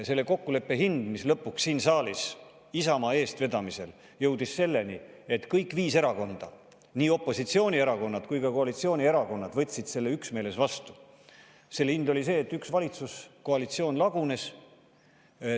Selle kokkuleppe hind, et siin saalis Isamaa eestvedamisel jõuti lõpuks selleni, et kõik viis erakonda – nii opositsioonierakonnad kui ka koalitsioonierakonnad – võtsid selle üksmeeles vastu, selle hind oli see, et üks valitsuskoalitsioon lagunes.